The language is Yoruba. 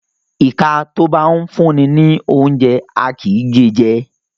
Ìka tó bá ńfún'ni lóúnjẹ, a kì í gée jẹ.